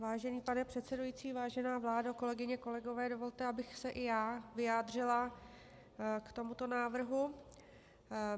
Vážený pane předsedající, vážená vládo, kolegyně, kolegové, dovolte, abych se i já vyjádřila k tomuto návrhu.